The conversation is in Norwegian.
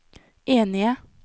enige